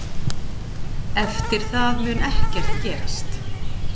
Eftir það mun ekkert gerast.